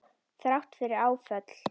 Þrátt fyrir áföll.